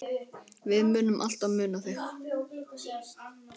Við munum alltaf muna þig.